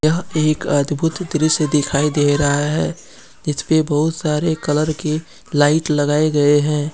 यह एक अद्भुत दृश्य दिखाई दे रहा है जिस पे बहुत सारे कलर की लाइट लगाए गए हैं।